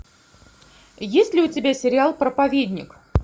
есть ли у тебя сериал проповедник